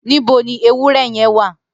Nibó ni éwùrè yèn wà?